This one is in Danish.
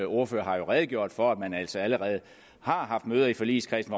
ordfører har redegjort for at man altså allerede har haft møder i forligskredsen